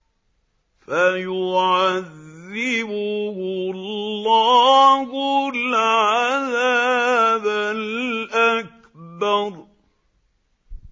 فَيُعَذِّبُهُ اللَّهُ الْعَذَابَ الْأَكْبَرَ